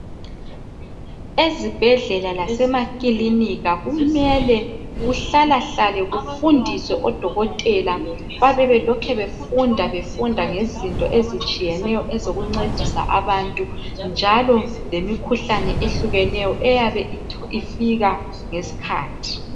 Ezibhedlela lasemakilinika kumele kuhlalahlale kufundiswe odokotela bayabe belokhu befunda befunda ngezinto ezinengi ezitshiyeneyo ezokuncedisa abantu njalo lengikhuhlane eyehlukeneyo eyabe ifika ngesikhathi.